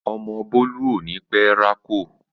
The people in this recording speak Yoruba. Ọmọ Bólú ò ní pẹ́ rákò